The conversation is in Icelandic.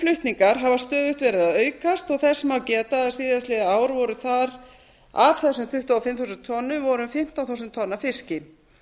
flutningar hafa stöðugt verið að aukast og þess má geta að síðastliðið ár voru af þessum tuttugu og fimm þúsund tonnum um fimmtán þúsund tonn af fiski